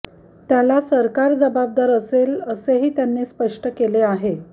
त्याला सरकार जबाबदार असेल असेही त्यांनी स्पष्ट केले आहे